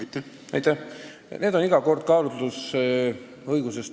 Lahendus tuleneb iga kord kaalutlusõigusest.